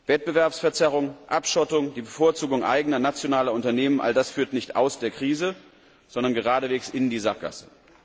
Wettbewerbsverzerrung, Abschottung, die Bevorzugung eigener nationaler Unternehmen all das führt nicht aus der Krise, sondern geradewegs in die Sackgasse.